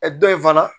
dɔ in fana